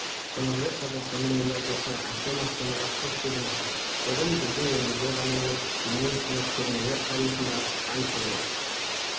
қонақжай қазақстанның елордасы әсем астанаға қош келдіңіздер бүгін біздің елімізде ғана емес дүниежүзілік көрмелер тарихында айтулы